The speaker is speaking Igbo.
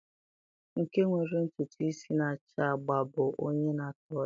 Nke nwere ntutu isi na-acha agba bụ onye na-atọ ọchị.